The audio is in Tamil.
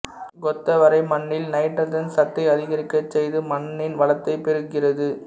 கொத்தவரை மண்ணில் நைட்ரசன் சத்தை அதிகரிக்க செய்து மண்ணின் வளத்தை பெருக்குகிறது